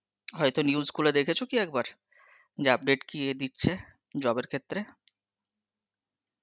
হয়তো news খুলে দেখেছ কি একবার, যে update কি দিচ্ছে job এর ক্ষেত্রে.